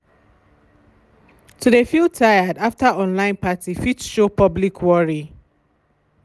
to de feel tired after online party fit show public worry.